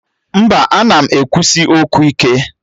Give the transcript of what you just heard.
Mba, ana m ekwusi okwu ike